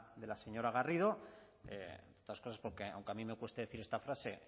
garrido entre otras cosas porque aunque a mí me cueste decir esta frase